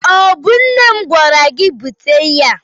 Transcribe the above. Ọ bụ nne m gwara gị bute ya?